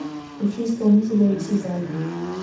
включи исполнителя эмси зали